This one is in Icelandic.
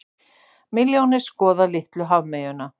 Milljónir skoða litlu hafmeyjuna